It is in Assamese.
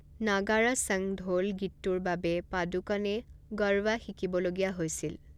নাগাড়া সংগ ঢোল' গীতটোৰ বাবে পাডুকনে গৰবা শিকিব লগা হৈছিল।